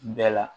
Bɛɛ la